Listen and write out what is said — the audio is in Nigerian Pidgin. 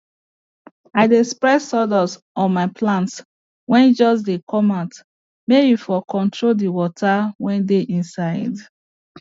i dey spread sawdust on my plants wey just dey come out may e for control the water wey dey inside